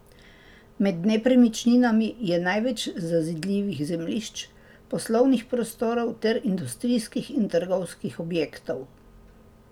Med nepremičninami je največ zazidljivih zemljišč, poslovnih prostorov ter industrijskih in trgovskih objektov.